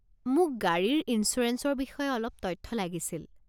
মোক গাড়ীৰ ইঞ্চুৰেঞ্চৰ বিষয়ে অলপ তথ্য লাগিছিল।